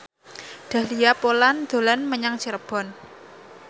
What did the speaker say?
Dahlia Poland dolan menyang Cirebon